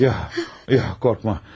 Yox, yox, qorxma.